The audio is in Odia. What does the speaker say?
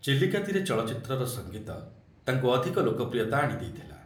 ଚିଲିକା ତୀରେ ଚଳଚ୍ଚିତ୍ରର ସଙ୍ଗୀତ ତାଙ୍କୁ ଅଧିକ ଲୋକପ୍ରିୟତା ଆଣିଦେଇଥିଲା ।